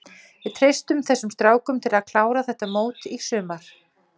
Við treystum þessum strákum til að klára þetta mót í sumar.